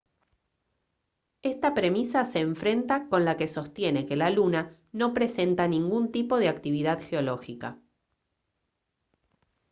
esta premisa se enfrenta con la que sostiene que la luna no presenta ningún tipo de actividad geológica